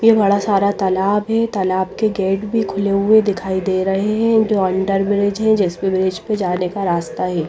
ये बड़ा सारा तालाब है तालाब के गेट भी खुले हुए दिखाई दे रहे है जो अंडरब्रिज है जिसपे ब्रिज पे जाने का रास्ता है।